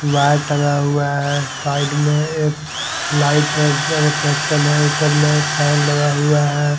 Q R टंगा हुआ है साइड में एक लाइट है रिफ्लेक्शन है ऊपर में फैन लगा हुआ है।